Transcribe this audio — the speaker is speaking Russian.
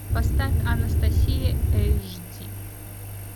поставь анастасия эйч ди